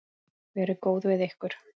Verið góð við ykkur.